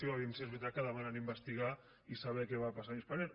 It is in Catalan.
vejam si és veritat que demanen investigar i saber què va passar amb spanair